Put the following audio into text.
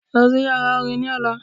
Lọ sí yàrá orin ni ọ̀la.